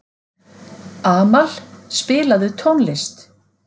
Amal, spilaðu tónlist.